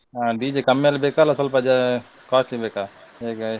ಆ DJ ಕಮ್ಮಿಯಲ್ಲಿ ಬೇಕಾ ಸ್ವಲ್ಪ ಜಾ~ costly ಬೇಕಾ ಹೇಗೆ?